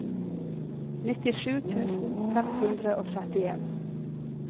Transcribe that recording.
nittisju tusen fem hundre og trettien